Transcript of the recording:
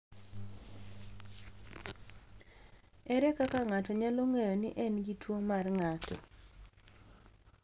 Ere kaka ng’ato nyalo ng’eyo ni en gi tuwo mar ng’ato?